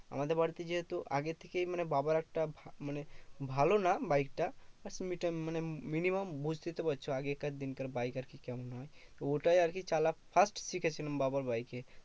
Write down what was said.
আমাদের বাড়িতে যেহেতু আগে থেকেই মানে বাবার একটা মানে, ভালো না বাইকটা মানে minimum বুঝতেই তো পারছো আগেকার দিনকার বাইক আরকি কেমন হবে? ওটাই আরকি চালা first শিখেছিলাম বাবার বাইকে।